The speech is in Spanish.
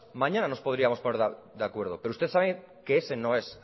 mañana nos podríamos poner de acuerdo pero usted sabe que ese no es